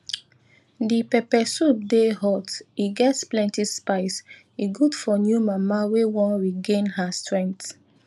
di pepper soup dey hot e get plenty spice e good for new mama wey wan regain her strength